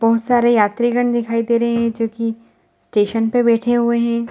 बहोत सारे यात्री गण दिखाई दे रहे हैं जो कि स्टेशन पर बैठे हुए हैं ।